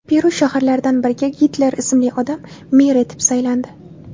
Peru shaharlaridan biriga Gitler ismli odam mer etib saylandi.